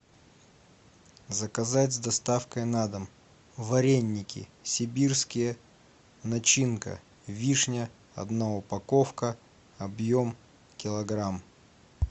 заказать с доставкой на дом вареники сибирские начинка вишня одна упаковка объем килограмм